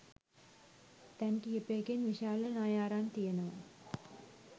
තැන් කිහිපයකින් විශාල ණය අරන් තියෙනවා.